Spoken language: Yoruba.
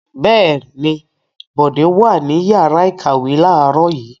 Bẹ́ẹ̀ ni, Bọ̀dé wà ní ìyàrá-ìkàwé láàárọ̀ yìí.